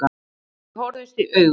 Þau horfðust í augu.